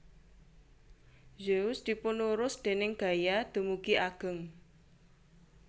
Zeus dipunurus déning Gaia dumugi ageng